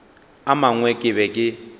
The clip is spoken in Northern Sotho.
a mangwe ke be ke